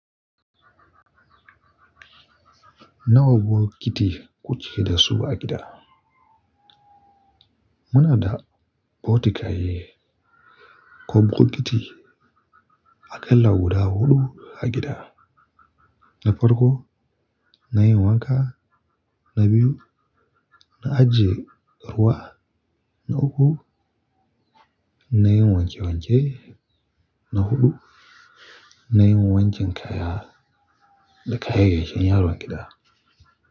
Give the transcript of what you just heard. Nawa bokiti kuke da su a gida? Muna da bokitaye ko bokiti a ƙalla guda huɗu a gida. Na farko, na yin wanka, na biyu, na ajiye ruwa, na uku, na yin wanke wanke, na huɗu, na yin wankin kaya da kayayyakin yaron gida.